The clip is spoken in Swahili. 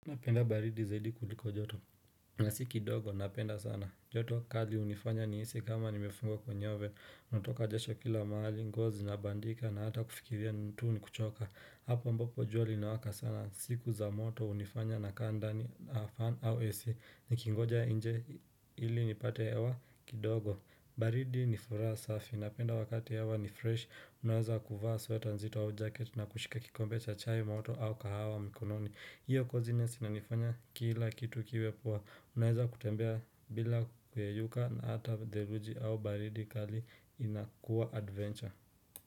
Naipenda baridi zaidi kuliko joto na si kidogo napenda sana joto kali hunifanya nihisi kama nimefungwa kwenye ove natoka jasho kila mahali nguo zinabandika na hata kufikiria mtu ni kuchoka Hapo ambapo jua linawaka sana siku za moto hunifanya na kaa ndani na fan au ac nikingoja nje ili nipate hewa kidogo baridi ni furaha safi napenda wakati hewa ni fresh unaweza kuvaa sweater nzito au jacket na kushika kikombe cha chai moto au kahawa mikononi hiyo kozinesi ananifanya kila kitu kiwe poa Unaweza kutembea bila kuyeyuka na hata theluji au baridi kali inakuwa adventure.